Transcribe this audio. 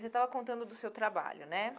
Você estava contando do seu trabalho, né?